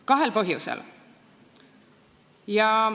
Kahel põhjusel.